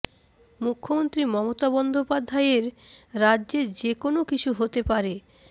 মুখ্যমন্ত্রী মমতা বন্দ্যোপাধ্যায়ের রাজ্যে যে কোনও কিছু হতে পারে